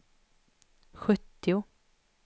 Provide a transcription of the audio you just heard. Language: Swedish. sjuttio